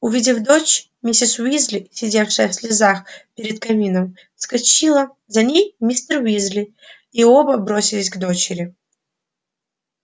увидев дочь миссис уизли сидевшая в слезах перед камином вскочила за ней мистер уизли и оба бросились к дочери